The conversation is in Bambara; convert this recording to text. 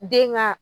Den ka